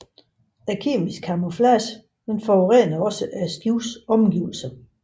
Denne kemiske camouflage forurenede også skibets omgivelser